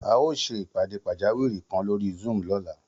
A óò ṣe ìpàdé pàjáwìrì kan lórí Zoom lọ́la